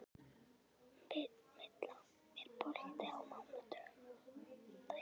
Milla, er bolti á mánudaginn?